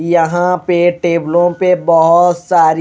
यहां पे टेबलों पे बहुत सारी--